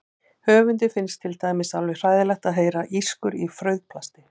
Höfundi finnst til dæmis alveg hræðilegt að heyra ískur í frauðplasti.